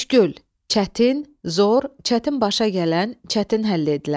Müşkül – çətin, zor, çətin başa gələn, çətin həll edilən.